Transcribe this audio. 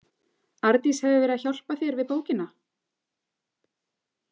Arndís hefur verið að hjálpa þér við bókina?